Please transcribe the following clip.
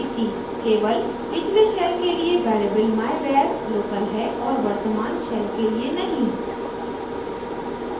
केवल पिछले shell के लिए variable myvar local है और वर्तमान shell के लिए नहीं